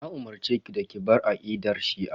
Na umurceki da ki bar aqidar shi'a.